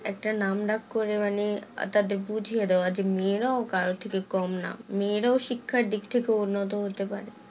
একটা নাম ডাক করে মানে তাদের বুঝিয়ে দেওয়া যে মেয়েরাও কারোর থেকে কম না মেয়েরাও শিক্ষার দিক থেকে উন্নত হতে পারে